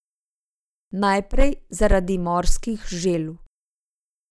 Najprej zaradi morskih želv.